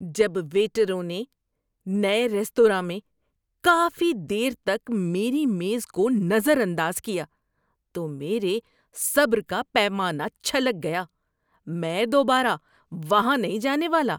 جب ویٹروں نے نئے ریستوراں میں کافی دیر تک میری میز کو نظر انداز کیا تو میرے صبر کا پیمانہ چھلک گیا۔ میں دوبارہ وہاں نہیں جانے والا۔